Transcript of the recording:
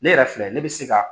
Ne yɛrɛ filɛ ne bɛ se ka